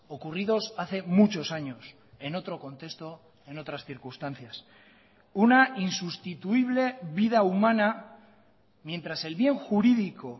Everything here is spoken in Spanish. ocurridos hace muchos años en otro contexto en otras circunstancias una insustituible vida humana mientras el bien jurídico